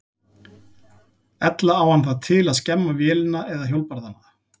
Ella á hann það til að skemma vélina eða hjólbarðana.